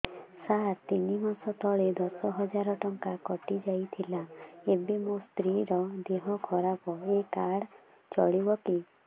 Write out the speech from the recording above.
ସାର ତିନି ମାସ ତଳେ ଦଶ ହଜାର ଟଙ୍କା କଟି ଥିଲା ଏବେ ମୋ ସ୍ତ୍ରୀ ର ଦିହ ଖରାପ ଏ କାର୍ଡ ଚଳିବକି